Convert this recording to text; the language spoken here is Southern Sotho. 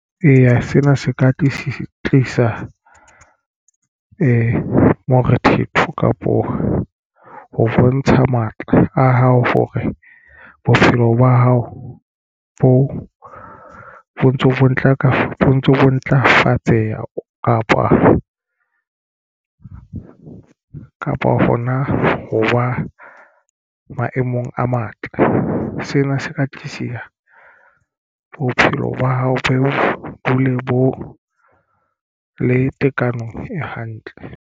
Eya, sena se ka tlisa morethetho kapo ho bontsha matla a hao hore bophelo ba hao ho ntso ntlafatseha kapa hona ho ba maemong a matle sena se ka tlise ya bophelo ba hao bo dule bo le tekano e hantle.